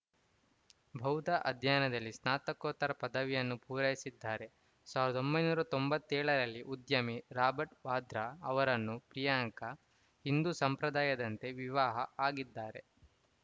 ಬೌದ್ಧ ಅಧ್ಯಯನದಲ್ಲಿ ಸ್ನಾತಕೋತ್ತರ ಪದವಿಯನ್ನೂ ಪೂರೈಸಿದ್ದಾರೆ ಸಾವಿರದ ಒಂಬೈನೂರ ತೊಂಬತ್ತ್ ಏಳು ರಲ್ಲಿ ಉದ್ಯಮಿ ರಾಬರ್ಟ್‌ ವಾದ್ರಾ ಅವರನ್ನು ಪ್ರಿಯಾಂಕಾ ಹಿಂದು ಸಂಪ್ರದಾಯದಂತೆ ವಿವಾಹ ಆಗಿದ್ದಾರೆ